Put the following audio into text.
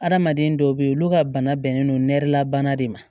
Adamaden dɔw bɛ yen olu ka bana bɛnnen no nɛrɛla bana de ma